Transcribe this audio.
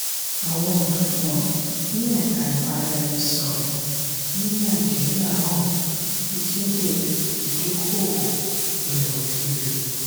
àwọn ọ̀jọ̀gbọ́n ní ẹ̀ka ibaraẹnisọ̀rọ ní nàìjíríà hàn kíkéré ìdóko-òwò ilẹ̀ òkèèrè.